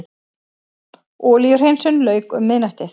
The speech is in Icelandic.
Olíuhreinsun lauk um miðnættið